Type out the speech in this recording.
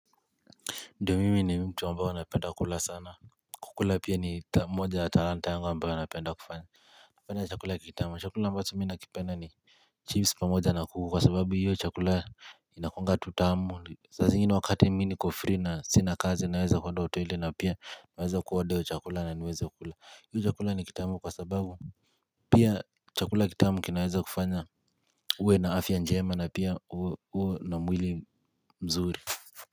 Ndiyo mimi ni mtu ambao napenda kula sana kukula pia ni moja ya talanta yanga ambayo napenda kufanya kupenda chakula kitamu chakula ambacho mimi nakipenda ni Chips pamoja na kuku kwa sababu hiyo chakula Inakuanga tu tamu sazingine wakati ni mimi niko free na sina kazi naweza kuenda hoteli na pia naweza kuwaorder chakula na niweza ku. Hii yu chakula ni kitamu kwa sababu Pia chakula kitamu kinaweza kufanya uwe na afya njema na pia uwe na mwili mzuri.